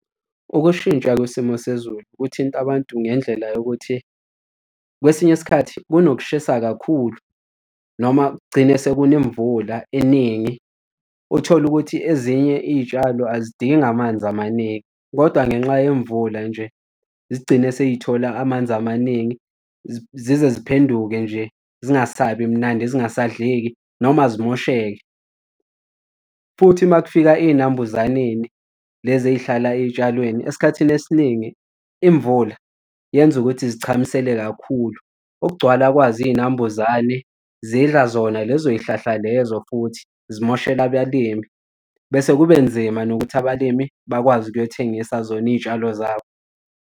Ukushintsha kwesimo sezulu kuthinta abantu ngendlela yokuthi kwesinye isikhathi kunokushisa kakhulu noma kugcine sekuna imvula eningi uthole ukuthi ezinye iy'tshalo azidingi amanzi amaningi kodwa ngenxa yemvula nje zigcine seythola amanzi amaningi zize ziphenduke nje zingasabi mnandi zingasadleki noma zimosheke. Futhi uma kufika iy'nambuzaneni lezi ey'hlala ey'tshalweni, esikhathini esiningi imvula yenza ukuthi zichamisele kakhulu ukugcwala kwazo iy'nambuzane zidla zona lezoy'hlahla lezo futhi zimoshela abalimi bese kube nzima nokuthi abalimi bakwazi ukuyothengisa zona iy'tshalo zabo.